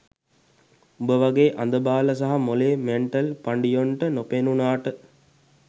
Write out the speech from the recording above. උඹ වගේ අඳබාල සහ මොලේ මැන්ටල් පඬියොන්ට නොපෙනුනාට